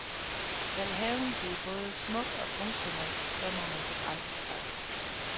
Skal haven blive både smuk og funktionel, så må man begrænse sig.